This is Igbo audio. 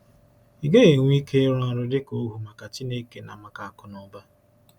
Ị gaghị enwe ike ịrụ ọrụ dịka ohu maka Chineke na maka Akụnaụba.